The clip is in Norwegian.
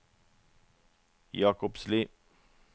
Jakobsli